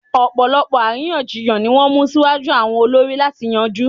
Ọ̀pọ̀lọpọ̀ àríyànjiyàn ni wọ́n mú síwájú àwọn olórí láti yanjú